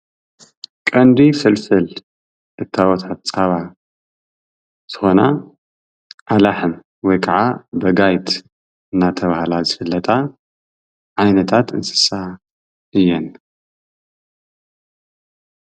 ቀንዲ ፍልፍል እታወታት ፃባ ዝኾና ኣላሕም ወይ ከዓ ብጋይት እናተባህላ ዝፍለጣ ዓይነታት እንስሳት እየን።